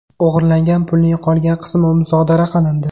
O‘g‘irlangan pulning qolgan qismi musodara qilindi.